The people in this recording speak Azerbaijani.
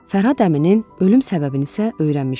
Fərhad əminin ölüm səbəbini isə öyrənmişdik.